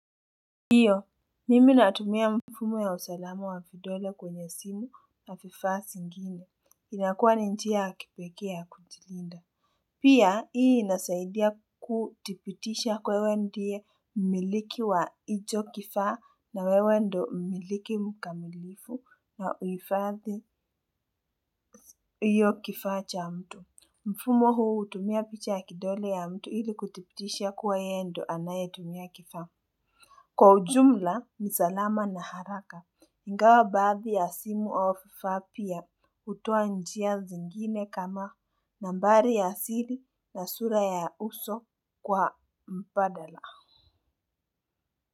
Ndio, mimi natumia mfumo ya usalama wa vidole kwenye simu na vifaa zingine. Inakua ni njia ya kipekee ya kujilinda. Pia, hii inasaidia kudhibitisha wewe ndiye miliki wa hicho kifaa na wewe ndio miliki mkamilifu wa huhifadhi hiyo kifaa cha mtu. Mfumo huu hutumia picha ya kidole ya mtu ili kudhibitisha kuwa yeye ndio anayetumia kifaa. Kwa ujumla, nisalama na haraka, ingawa baadhi ya simu au fapia hutoa njia zingine kama nambari ya asili na sura ya uso kwa mbadala.